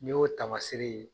N'i y'o tamaseere ye